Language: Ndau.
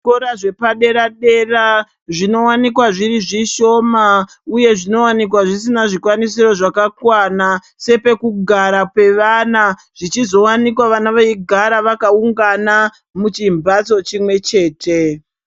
Zvikora zvepadera dera zvinowanikwa zviri zvishoma uye zvinowanikwa zvisina zvikwanisiro zvakakwana sepekugara pevana zvichizowanikwa ivo vana veigara vakaungana muchimbatso chimwe chete.